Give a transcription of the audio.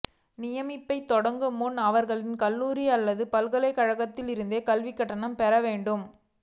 நியமிப்பைத் தொடங்கும் முன்னர் அவர்களின் கல்லூரி அல்லது பல்கலைக்கழகத்திலிருந்து கல்விக் கடன் பெற வேண்டும்